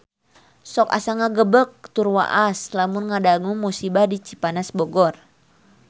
Sok asa ngagebeg tur waas lamun ngadangu musibah di Cipanas Bogor